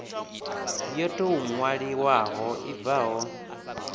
yo tou ṅwaliwaho i bvaho